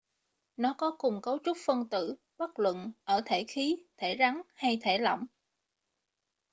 nó có cùng cấu trúc phân tử bất luận ở thể khí thể rắn hay thể lỏng